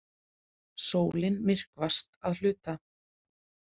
Sólin myrkvast að hluta